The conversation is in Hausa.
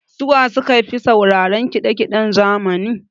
Su wa su kafi sauraran kiɗa kiɗen zamani?